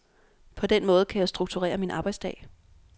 På den måde kan jeg strukturere min arbejdsdag.